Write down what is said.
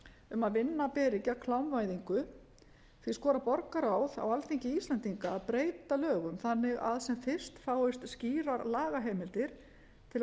um að vinna beri gegn klámvæðingu því skorar borgarráð á alþingi íslendinga að breyta lögum þannig að sem fyrst fáist skýrar lagaheimildir til að koma